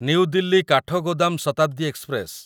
new Delhi Kathgodam Shatabdi express